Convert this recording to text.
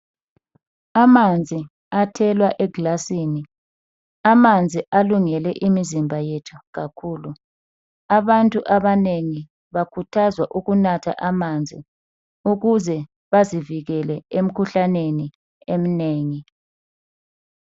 Amanzi athelwa egilasini. Amanzi alungele imizimba yethu kakhulu. Abantu abanengi bakuthazwa ukunatha amanzi ukuze bazivikele emikhuhlaneni eminengi.